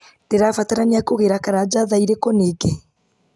ndĩrabatarania kũgĩra karanja thaa irĩkũ ningĩ